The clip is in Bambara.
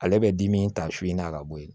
Ale bɛ dimi ta su in na ka bɔ yen